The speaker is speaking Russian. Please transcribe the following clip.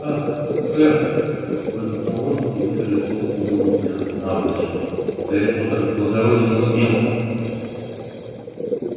ах сэр выдохнул он и вытер лицо углом грязной наволочки гарри поттер благороден и смел